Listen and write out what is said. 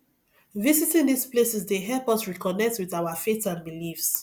visiting these places dey help us reconnect with our faith and beliefs